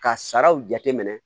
Ka saraw jateminɛ